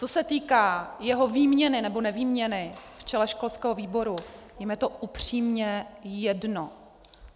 Co se týká jeho výměny nebo nevýměny v čele školského výboru, je mi to upřímně jedno.